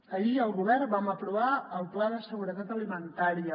ahir el govern vam aprovar el pla de seguretat alimentària